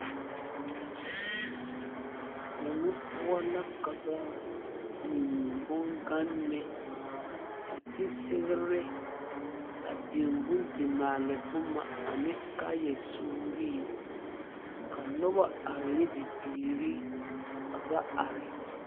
Yeŋe poɔ la ka ba biŋe bongane a ti segre a biŋe bondimaale boma a ne kaayasuurii ka noba are ne bibiiri ka ba are.